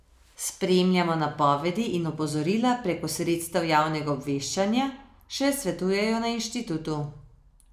Spremljajmo napovedi in opozorila preko sredstev javnega obveščanja, še svetujejo na inštitutu.